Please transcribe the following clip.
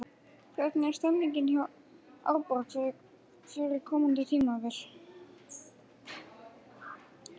Hvernig er stemningin hjá Árborg fyrir komandi tímabil?